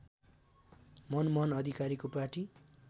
मनमोहन अधिकारीको पार्टी